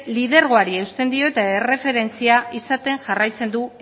lidergoari eusten dio eta erreferentzia izaten jarraitzen du